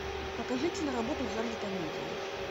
покажи киноработу в жанре комедия